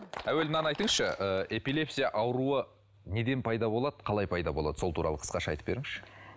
әуелі мынаны айтыңызшы ы эпилепсия ауруы неден пайда болады қалай пайда болады сол туралы қысқаша айтып беріңізші